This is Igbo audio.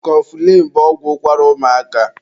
Kọfụlịn bụ ọgwụ ụkwara ụmụaka